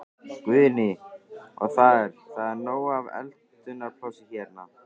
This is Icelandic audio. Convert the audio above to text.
Guðný: Og það er, það er nóg af eldunarplássi hérna?